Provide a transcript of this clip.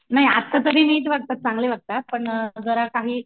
नाही आत्ता सगळे नीट वागतात चांगले वागतात पण जरा काही